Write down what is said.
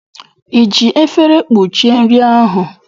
I ji efere kpuchie nri ahụ?